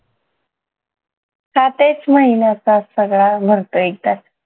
हा तेच महिन्याचा सगळा भरतो एकदाच